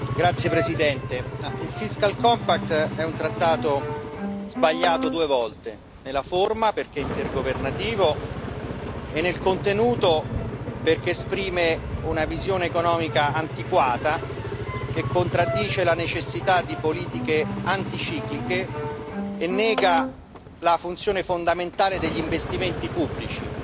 Signor Presidente, onorevoli colleghi, il è un trattato sbagliato due volte nella forma, perché è intergovernativo, e nel contenuto, perché esprime una visione economica antiquata, che contraddice la necessità di politiche anticicliche e nega la funzione fondamentale degli investimenti pubblici.